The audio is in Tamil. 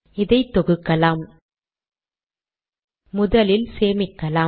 இதை தொகுக்கலாம் முதலில் சேமிக்கலாம்